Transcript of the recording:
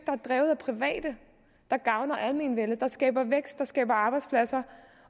er drevet af private der gavner almenvellet der skaber vækst der skaber arbejdspladser